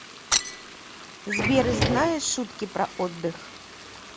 сбер знаешь шутки про отдых